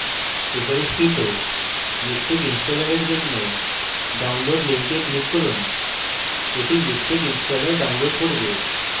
সুপারিশকৃত miktex ইনস্টলারের জন্য download link এ click করুন এটি মিকটেক installer download করবে